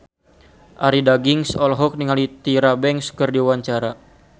Arie Daginks olohok ningali Tyra Banks keur diwawancara